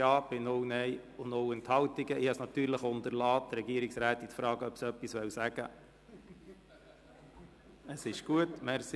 Ich habe es natürlich unterlassen, die Frau Regierungsrätin zu fragen, ob sie etwas dazu sagen wolle.